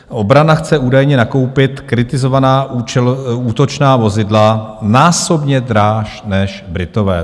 Obrana chce údajně nakoupit kritizovaná útočná vozidla násobně dráž než Britové.